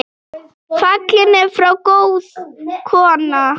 Fallin er frá góð kona.